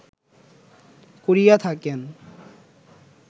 করিয়া থাকেন